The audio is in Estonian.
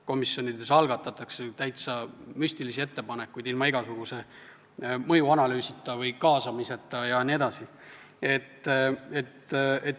Komisjonides algatatakse ju täiesti müstilisi ettepanekuid ilma igasuguse mõjuanalüüsita või kaasamiseta jne.